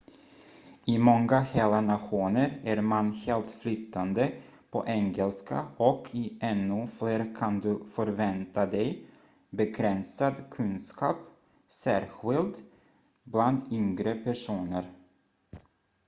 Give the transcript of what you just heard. i många hela nationer är man helt flytande på engelska och i ännu fler kan du förvänta dig begränsad kunskap särskild bland yngre personer